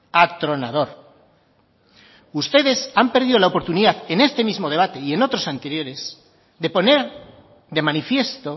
atronador ustedes han perdido la oportunidad en este mismo debate y en otros anteriores de poner de manifiesto